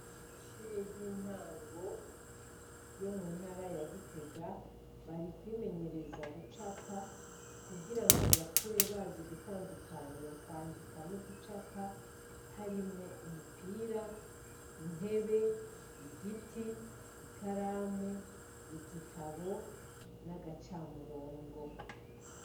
Amashure y'intango yo muntara ya Gitega, bari kwimenyereza gucapa, kugirango bakure bazi gutandukanya kwandika no gucapa ,harimwo umupira, intebe, igiti, ikaramu ,igitabo n'agacamurongo.